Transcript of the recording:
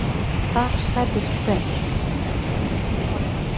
Þar særðust tveir